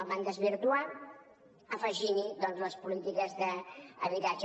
el van desvirtuar afegint hi doncs les polítiques d’habitatge